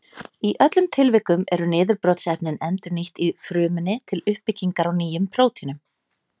Í öllum tilvikum eru niðurbrotsefnin endurnýtt í frumunni til uppbyggingar á nýjum prótínum.